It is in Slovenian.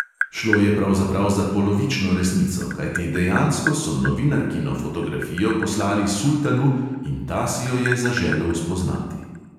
Šlo je pravzaprav za polovično resnico, kajti dejansko so novinarkino fotografijo poslali sultanu in ta si jo je zaželel spoznati.